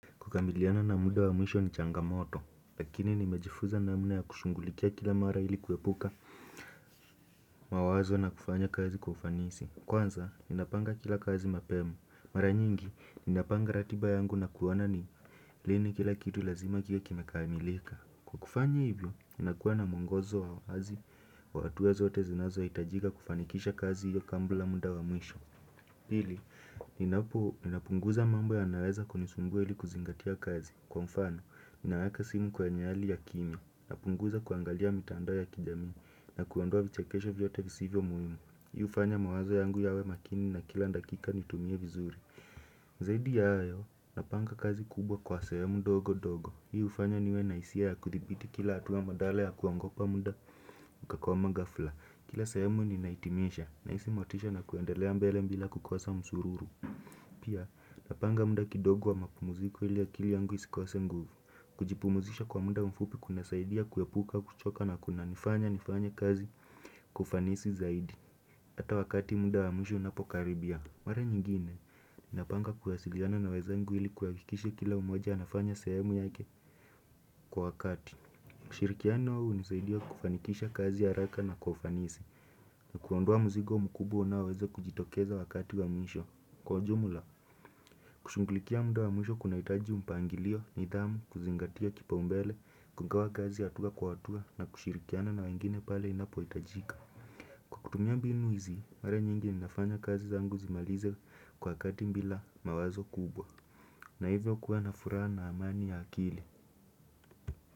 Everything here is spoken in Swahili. Kukabiliana na muda wa mwisho ni changamoto, lakini nimejifunza namna ya kushughulikia kila mara ili kuepuka mawazo na kufanya kazi kwa ufanisi. Kwanza, ninapanga kila kazi mapema. Mara nyingi, ninapanga ratiba yangu na kuona ni lini kila kitu lazima kiwe kimekamilika. Kufanya hivyo, ninakuwa na muongozo wa wazi wa hatua zote zinazohiitajika kufanikisha kazi hiyo kabla muda wa mwisho. Pili, ninapunguza mambo yanayoweza kunisumbua ili kuzingatia kazi, kwa mfano, ninaweka simu kwenye hali ya kimya, napunguza kuangalia mitandao ya kijamii, na kuondua vichekesho vyote visivyo muhimu, hii hufanya mawazo yangu yawe makini na kila dakika nitumie vizuri zaidi ya hayo, napanga kazi kubwa kwa sehemu ndogo ndogo. Hii hufanya niwe na hisia ya kuthibiti kila hatua badala ya kuogopa muda ukakwama ghafla, kila sehemu ninaitimisha Nahisi motisha na kuendelea mbele bila kukosa msururu Pia, napanga muda kidogo wa mapumuziko ili akili yangu isikose nguvu Kujipumzisha kwa muda mfupi kunasaidia kuepuka kuchoka na kunanifanya nifanye kazi Kwa ufanisi zaidi hata wakati muda wa mwisho unapokaribia Mara nyingine ninapanga kuwasiliana na wezangu ili kuhakikisha kila mmoja anafanya sehemu yake kwa wakati kushirikiana nao hunisaidia kufanikisha kazi haraka na kwa ufanisi na kuondoa mzigo mkubwa unaoweza kujitokeza wakati wa mwisho Kwa jumula, kushughulikia muda wa mwisho kunahitaji mpangilio, nidhamu, kuzingatia kipaumbele, kugawa kazi hatua kwa hatua na kushirikiana na wengine pale inapohitajika kwavKutumia mbinu hizi, mara nyingi inafanya kazi zangu zimalize kwa kati bila mawazo kubwa na hivyo kuwa na furaha na amani ya akili.